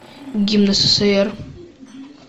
гимн ссср